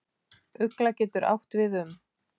Ugla getur átt við um